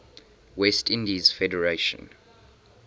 west indies federation